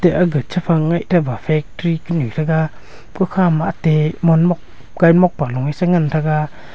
aga chem phang nge thaba factory kunu thaga kukha ma ate mot kaimot palo a chi ngan tega.